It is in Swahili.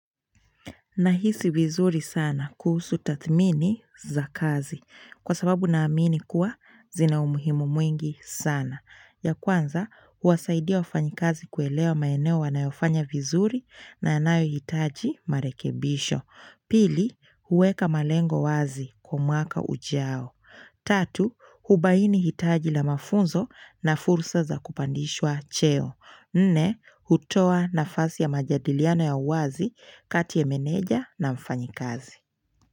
Nahisi vizuri sana kuhusu tathmini za kazi. Kwa sababu na amini kuwa zina umuhimu mwingi sana. Ya kwanza, huwasaidia wafanyikazi kuelewa maeneo wanayofanya vizuri na yanayo hitaji marekebisho. Pili, huweka malengo wazi kwa mwaka ujao. Tatu, hubaini hitaji la mafunzo na fursa za kupandishwa cheo. Nne, hutoa nafasi ya majadiliano ya uwazi kati ya meneja na mfanyikazi.